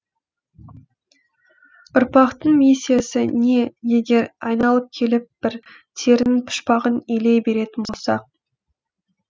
ұрпақтың миссиясы не егер айналып келіп бір терінің пұшпағын илей беретін болсақ